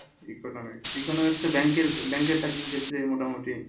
Economics economics তো bank এর bank এর চাকরির ক্ষেত্রে মোটামুটি